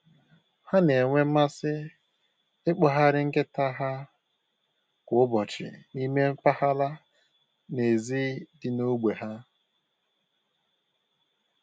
Ha na-enwe mmasị ikpọgharị nkịta ha kwa ụbọchị n'ime mpaghara n'èzí dị n'ógbè ha